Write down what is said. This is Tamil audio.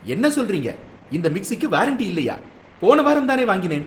என்ன சொல்றீங்க? இந்த மிக்ஸிக்கு வாரண்டி இல்லையா? போன வாரம் தானே வாங்கினேன்.